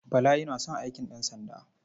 Bala yana son aikin ɗansanda.